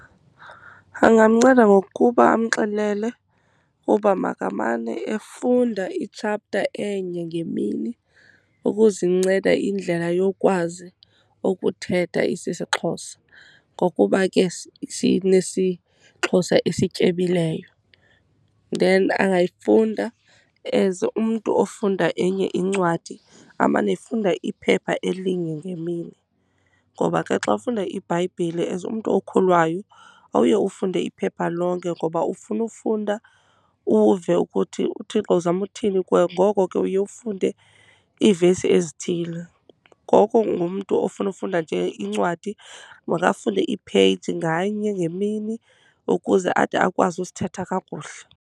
Angamnceda ngokuba amxelele uba makamane efunda i-chapter enye ngemini ukuzinceda indlela yokwazi ukuthetha isiXhosa, ngokuba ke sinesiXhosa esityebileyo. Then angayifunda as umntu ofunda enye incwadi, amane efunda iphepha elinye ngemini, ngoba ke xa ufunda iBhayibhile as umntu okholwayo awuye ufunde iphepha lonke, ngoba ufuna ufunda uve ukuthi uThixo uzama uthini kuwe. Ngoko ke, uye ufunde iivesi ezithile. Ngoko ngumntu ofuna ukufunda nje incwadi makafunde i-page nganye ngemini ukuze ade akwazi usithetha kakuhle.